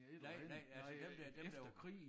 Nej nej altså dem der dem der var